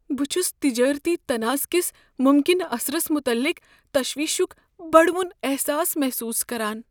بہٕ چھس تجٲرتی تنازعہ کس ممکنہٕ اثرس متعلق تشویشک بڑوُن احساس محسوس کران۔